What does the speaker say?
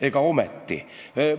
Ega ometi?